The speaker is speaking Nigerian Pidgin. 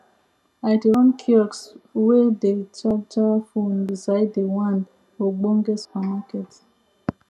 i dey run kiosk whey dey charger phone beside the one ogbonge supermarket